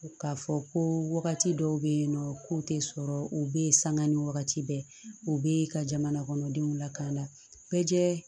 K'a fɔ ko wagati dɔw bɛ yen nɔ ko tɛ sɔrɔ u bɛ yen sanga ni wagati bɛɛ u bɛ ka jamanakɔnɔdenw lakana bɛɛ